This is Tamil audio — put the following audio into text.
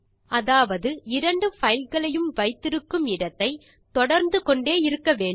அதாவது இரண்டு பைல்களையும் வைத்திருக்கும் இடத்தை தொடர்ந்து கொண்டே இருக்க வேண்டும்